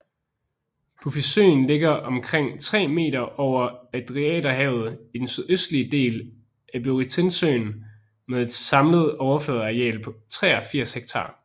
Bufisøen ligger omkring 3 meter over Adriaterhavet i den sydøstlige del af Butrintsøen med et samlet overfladeareal på 83 hektar